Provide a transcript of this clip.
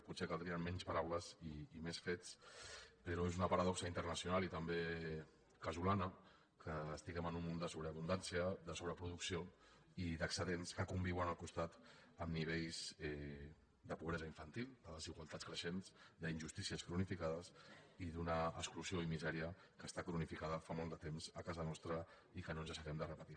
potser caldrien menys paraules i més fets però és una paradoxa internacional i també casolana que estiguem en un món de sobreabundància de sobreproducció i d’excedents que conviuen al costat amb nivells de pobresa infantil de desigualtats creixents d’injustícies cronificades i d’una exclusió i misèria que està cronificada fa molt de temps a casa nostra i que no deixarem de repetir